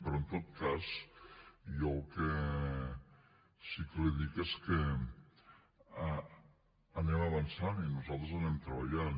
però en tot cas jo el que sí que li dic és que anem avançant i nosaltres anem treballant